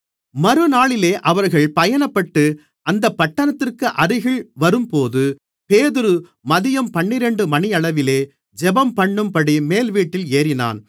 மறுநாளிலே அவர்கள் பயணப்பட்டு அந்தப் பட்டணத்திற்கு அருகில் வரும்போது பேதுரு மதியம் பன்னிரண்டு மணியளவிலே ஜெபம்பண்ணும்படி மேல்வீட்டில் ஏறினான்